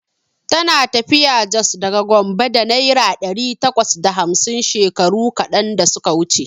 Tana tafiya Jos daga Gombe da naira ɗari takwas da hamsin shekaru kaɗan da suka wuce.